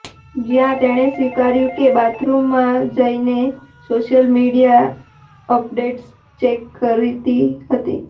જ્યાં તેણે સ્વીકાર્યું કે બાથરૂમમાં જઈને તે સોશિયલ મીડિયા અપડેટ્સ ચેક કરતી હતી